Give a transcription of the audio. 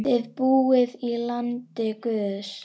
Þið búið í landi guðs.